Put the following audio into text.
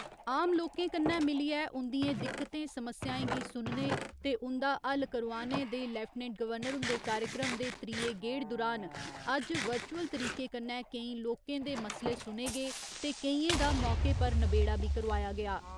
आम लोकें कन्नै मिलियै उंदियें दिक्कतें समस्याएं गी सुनने ते उं'दा हल करोआनै दे लेफ्टिनेंट गवर्नर हुंदे कार्यक्रम दे त्रीये गेड़ दुरान अज्ज वर्चुअल तरीके कन्नै केईं लोकें दे मसले सुने गे ते केइएं दा मौके पर नबेड़ा बी करोआया गेआ।